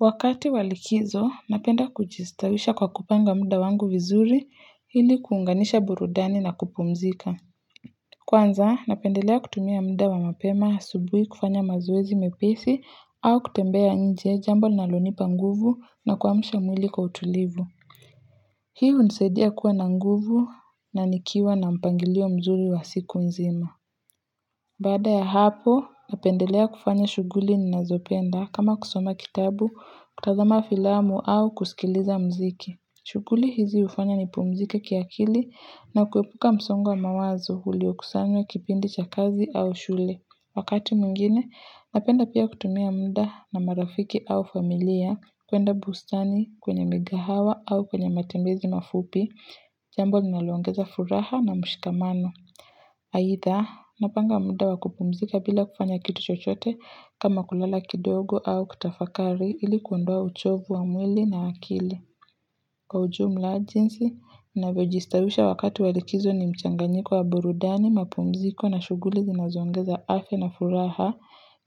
Wakati wa likizo, napenda kujistawisha kwa kupanga muda wangu vizuri illi kuunganisha burudani na kupumzika. Kwanza, napendelea kutumia muda wa mapema asubuhi kufanya mazoezi mepesi au kutembea nje jambo linalonipa nguvu na kuwamsha mwili kwa utulivu. Hii hunisaidia kuwa na nguvu na nikiwa na mpangilio mzuri wa siku nzima. Badaa ya hapo, napendelea kufanya shughuli ninazopenda kama kusoma kitabu, kutazama filamu au kusikiliza mziki. Shughuli hizi ufanya ni pumzike kiakili na kuepuka msongo wa mawazo ulio kusanywa kipindi cha kazi au shule. Wakati mwingine, napenda pia kutumia mda na marafiki au familia kuenda bustani kwenye migahawa au kwenye matembezi mafupi, jambo linalo ongeza furaha na mshikamano. Haidha, napanga mda wa kupumzika bila kufanya kitu chochote kama kulala kidogo au kutafakari ili kuondoa uchovu wa mwili na akili. Kwa ujumla jinsi, ninavyojistawisha wakati walikizo ni mchanganyiko wa burudani, mapumziko na shughuli zinazongeza afya na furaha